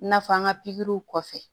I n'a fɔ an ka pikiriw kɔfɛ